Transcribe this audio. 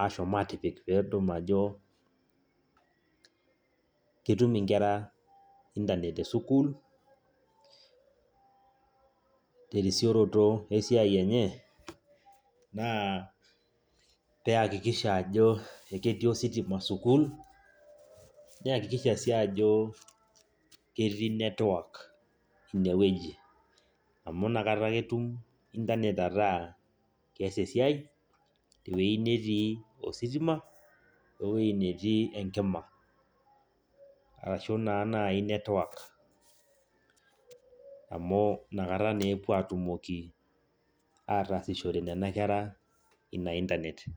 aashom aatipik pee edol ajo ketum nkera internet[cs[ te sukuul terisioroto esiai enye naa pee iakikisha ajo ekitii ositima sukuul naikikisha sii ajo ketii network ine wueji amu nakata ake itum internet ataa kees esiai tewuei netii ositima oo ewuei netii enkima ashu naa naai network amu nakata naa epuo aatumoki ataasishore nena kerra ina internet.